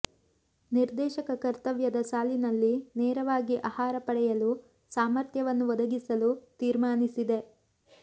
ನಿರ್ದೇಶಕ ಕರ್ತವ್ಯದ ಸಾಲಿನಲ್ಲಿ ನೇರವಾಗಿ ಆಹಾರ ಪಡೆಯಲು ಸಾಮರ್ಥ್ಯವನ್ನು ಒದಗಿಸಲು ತೀರ್ಮಾನಿಸಿದೆ